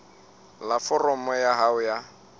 la foromo ya hao ya